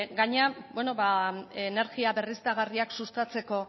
energia berriztagarriak sustatzeko